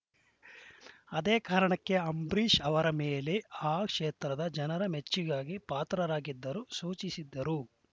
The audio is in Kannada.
ಅದೇ ಕಾರಣಕ್ಕೆ ಅಂಬರೀಷ್‌ ಅವರ ಮೇಲೆ ಆ ಕ್ಷೇತ್ರದ ಜನರ ಮೆಚ್ಚುಗೆಗೆ ಪಾತ್ರರಾಗಿದ್ದರು ಸೂಚಿಸಿದ್ದರು